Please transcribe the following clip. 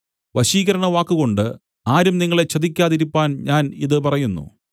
വശീകരണവാക്കുകൊണ്ട് ആരും നിങ്ങളെ ചതിക്കാതിരിപ്പാൻ ഞാൻ ഇത് പറയുന്നു